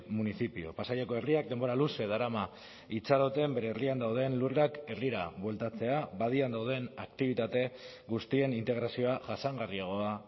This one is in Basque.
municipio pasaiako herriak denbora luze darama itxaroten bere herrian dauden lurrak herrira bueltatzea badian dauden aktibitate guztien integrazioa jasangarriagoa